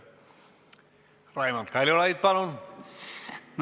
Raimond Kaljulaid, palun!